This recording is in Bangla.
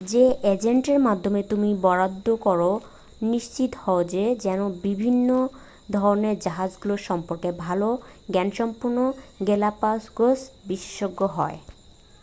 যে এজেন্টের মাধ্যমে তুমি বরাদ্ধ করো নিশ্চিত হও সে যেন বিভিন্ন ধরণের জাহাজগুলো সম্পর্কে ভালো জ্ঞানসম্পন্ন গেলাপাগোস বিশেষজ্ঞ হয়